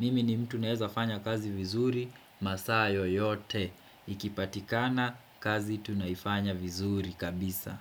Mimi ni mtu naweza fanya kazi vizuri masaa yoyote Ikipatikana kazi tunaifanya vizuri kabisa.